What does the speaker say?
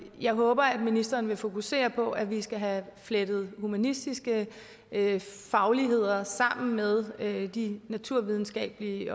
jeg håber at ministeren vil fokusere på at vi skal have flettet humanistiske fagligheder sammen med de naturvidenskabelige